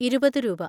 ഇരുപത്‌ രൂപ.